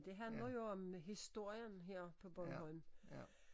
Det handler jo om historien her på Bornholm